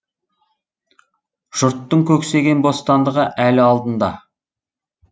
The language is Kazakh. жұрттың көксеген бостандығы әлі алдында